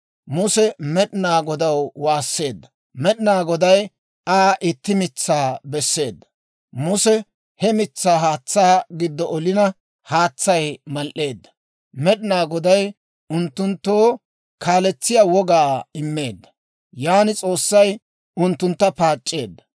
Muse Med'inaa Godaw waasseedda; Med'inaa Goday Aa itti mitsaa besseedda; Muse he mitsaa haatsaa giddo olina, haatsay mal"eedda. Med'inaa Goday unttunttoo kalesetiyaa wogaa immeedda; yaan S'oossay unttuntta paac'c'eedda.